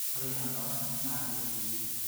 Ore ebaare naa ketii